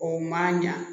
O man ɲa